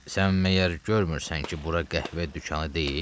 Sən məyər görmürsən ki bura qəhvə dükanı deyil?